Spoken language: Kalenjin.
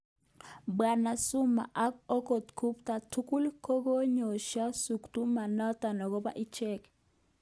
Bwana Zuma ak okot Gupta tugul kokoyesho shutuma noton akobo ichek